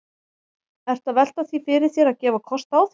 Ertu að velta því fyrir þér að, að gefa kost á þér?